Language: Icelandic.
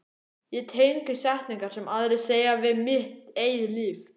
Ég tengi setningar sem aðrir segja við mitt eigið líf.